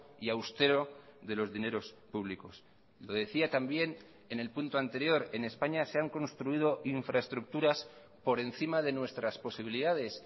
y austero de los dineros públicos lo decía también en el punto anterior en españa se han construido infraestructuras por encima de nuestras posibilidades